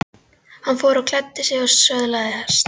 Hann fór og klæddi sig og söðlaði hest.